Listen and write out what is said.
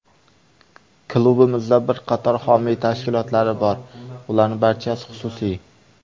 Klubimizning bir qator homiy tashkilotlari bor, ularning barchasi xususiy.